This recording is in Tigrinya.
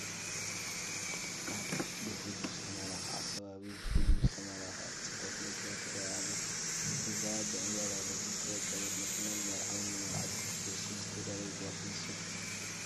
ኣብ ብፍሉይ ዝተመላክዓ ከባቢ ብፍሉይ ዝተመላክዓት ፅብቕቲ መኪና ትርአ ኣላ፡፡ እዛ ብዕምበባታት ዝወቀበት መኪና ንመርዓውን መርዓትን ክትወስድ ዝተዳለወት እያ ትመስል፡፡